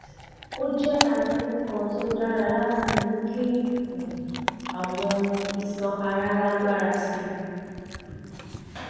ó jẹ́ àfikún kan tó dára láti mú kí um àwọn iṣan ara lágbára sí i